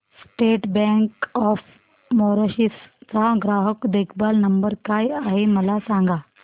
state Bank of Mauritius चा ग्राहक देखभाल नंबर काय आहे मला सांगा